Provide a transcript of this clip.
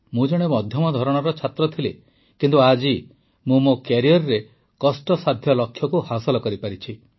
ମୁଁ ଜଣେ ମଧ୍ୟମ ଧରଣର ଛାତ୍ର ଥିଲି କିନ୍ତୁ ଆଜି ମୁଁ ମୋ କ୍ୟାରିଅରରେ କଷ୍ଟସାଧ୍ୟ ଲକ୍ଷ୍ୟକୁ ହାସଲ କରିପାରିଛି